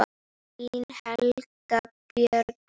Þín Helga Björk.